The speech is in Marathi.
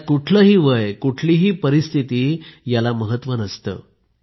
यात कुठलंही वय कुठलीही परिस्थिती याला महत्व नसत